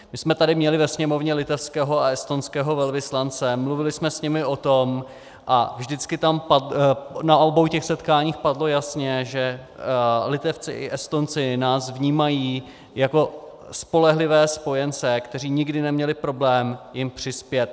My jsme tady měli ve Sněmovně litevského a estonského velvyslance, mluvili jsme s nimi o tom a na obou těch setkáních padlo jasně, že Litevci a Estonci nás vnímají jako spolehlivé spojence, kteří nikdy neměli problém jim přispět.